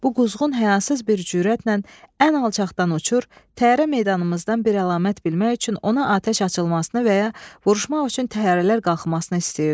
Bu quzğun həyasız bir cürətlə ən alçaqdan uçur, təyyarə meydanımızdan bir əlamət bilmək üçün ona atəş açılmasını və ya vuruşmaq üçün təyyarələr qalxmasını istəyirdi.